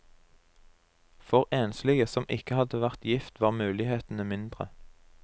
For enslige som ikke hadde vært gift var mulighetene mindre.